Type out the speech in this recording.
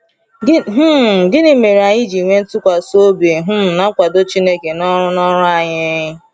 um Gịnị mere anyị ji nwee ntụkwasị obi um na nkwado Chineke n’ọrụ n’ọrụ anyị?